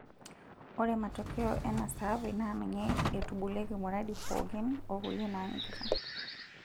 Ore matokeo ena saape naa ninye eitubulieki muradi pookin okulie naanyikita.